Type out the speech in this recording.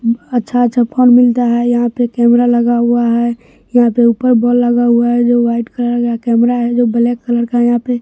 अच्छा-अच्छा फोन मिलता है यहाँ पे कैमरा लगा हुआ है यहाँ पे ऊपर बोल लगा हुआ है जो वाइट कलर का कैमरा है जो ब्लैक कलर का यहाँ पे।